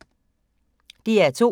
DR P2